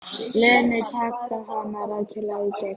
Lenu, taka hana rækilega í gegn.